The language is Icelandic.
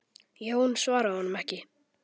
Jón svaraði honum ekki.